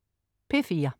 P4: